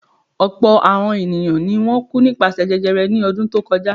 Ọ̀pọ̀̀ àọn ènìyàn ni wọ́n kú nípasẹ̀ jẹjẹrẹ ní ọdún tí ó kọjá.